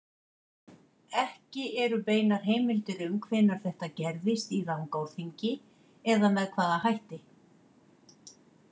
Ekki eru beinar heimildir um hvenær þetta gerðist í Rangárþingi eða með hvaða hætti.